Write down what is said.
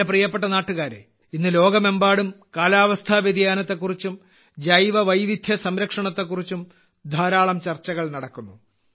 എന്റെ പ്രിയപ്പെട്ട നാട്ടുകാരേ ഇന്ന് ലോകമെമ്പാടും കാലാവസ്ഥാ വ്യതിയാനത്തെക്കുറിച്ചും ജൈവവൈവിധ്യ സംരക്ഷണത്തെക്കുറിച്ചും ധാരാളം ചർച്ചകൾ നടക്കുന്നു